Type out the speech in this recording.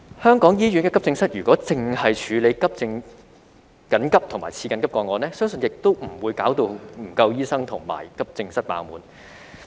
香港醫院的急症室如果只是處理緊急和次緊急個案，相信亦不會導致醫生不足和急症室"爆滿"。